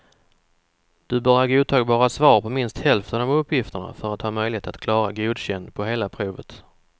Du bör ha godtagbara svar på minst hälften av uppgifterna för att ha möjlighet att klara godkänd på hela provet.